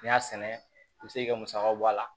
N'i y'a sɛnɛ i bi se k'i musakaw bɔ a la